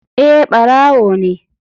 Eh barawo ne.